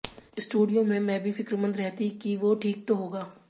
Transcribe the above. studio में मैं भी फ़िक्रमंद रहती कि वो ठीक तो होगा